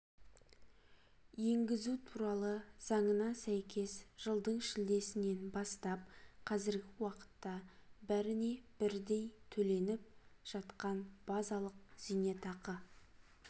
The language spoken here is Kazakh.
енгізу туралы заңына сәйкес жылдың шілдесінен бастап қазіргі уақытта бәріне бірдей төленіп жатқан базалық зейнетақы